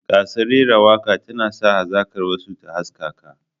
Gasar rera waka tana sa hazakar wasu ta haskaka.